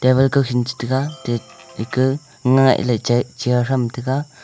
table kaukhin che tega chair tham tega.